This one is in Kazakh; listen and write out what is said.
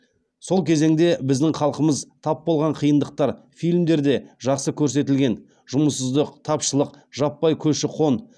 сол кезеңде біздің халқымыз тап болған қиындықтар фильмдерде жақсы көрсетілген жұмыссыздық тапшылық жаппай көші қон